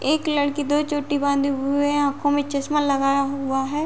एक लड़की दो चोटी बांधे हुए आँखों में चस्मा लगाया हुआ है।